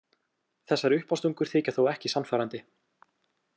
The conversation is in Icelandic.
Þessar uppástungur þykja þó ekki sannfærandi.